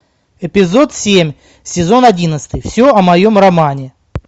эпизод семь сезон одиннадцатый все о моем романе